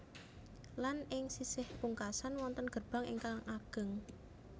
Lan ing sisih pungkasan wonten gerbang ingkang ageng